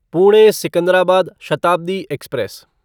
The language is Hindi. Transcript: पुणे सिकंदराबाद शताब्दी एक्सप्रेस